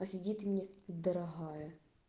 сидит и мне дорогая